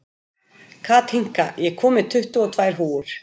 Kathinka, ég kom með tuttugu og tvær húfur!